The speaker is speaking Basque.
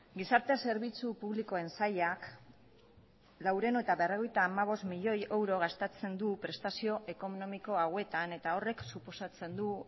gizarte zerbitzu publikoen sailak laurehun eta berrogeita hamabost milioi euro gastatzen du prestazio ekonomiko hauetan eta horrek suposatzen du